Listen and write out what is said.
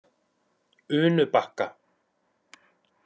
Unubakka